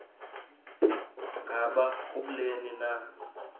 ngaba kubleni na